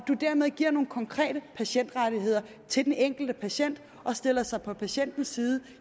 dermed giver nogle konkrete patientrettigheder til den enkelte patient og stiller sig på patientens side